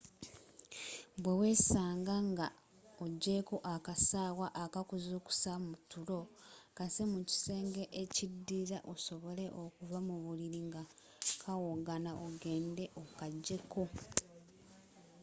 bwewesaanga nga ogyeeko akasaawa akakuzuukusa mutulo kasse mu kisenge ekidirira osobole okuva mubulili nga kawogana ogende okajjeko